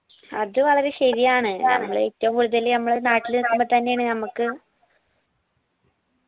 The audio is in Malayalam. അത് വളരെ ശരിയാണ് നമ്മളേറ്റവും കൂടുതല് മ്മളെ നാട്ടില് നിക്കുമ്പോ തന്നേണ് നമ്മക്ക്